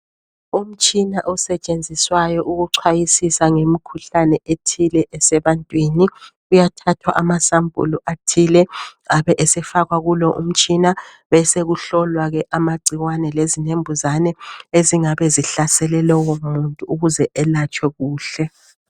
Umtshina osetshenziswayo ukuchwayisisa ngemikhuhlane ethile esebantwini. Kuyathathwa amasampuli athile abe esefakwa kulo umtshina besokuhlolwa ke amagcikwane lezinembuzane ezingabe zihlasele lwomuntu ukuze elatshwe kuhle.